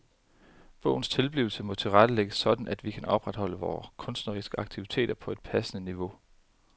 Bogens tilblivelse må tilrettelægges sådan at vi kan opretholde vores kunstneriske aktivitet på et passende niveau.